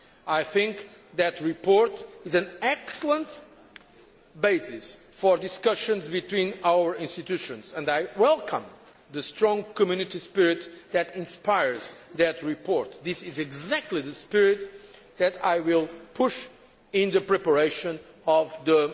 I think that report is an excellent basis for discussions between our institutions, and I welcome the strong Community spirit that inspires the report. This is exactly the spirit that I will uphold in the preparation